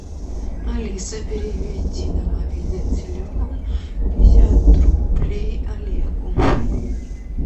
алиса переведи на мобильный телефон пятьдесят рублей олегу